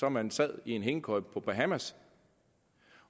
om man så lå i en hængekøje på bahamas